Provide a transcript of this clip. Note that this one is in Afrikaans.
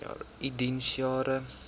u diens jare